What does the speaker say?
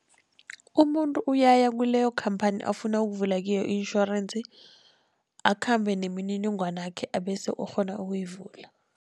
Umuntu uyaya kuleyo khamphani afuna ukuvula kiyo i-insurance, akhambe nemininingwanakhe abese ukghona ukuyivula.